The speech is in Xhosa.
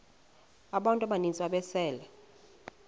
abantu abaninzi ababesele